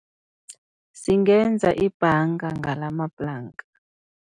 Singenza ibhanga ngalamaplanka.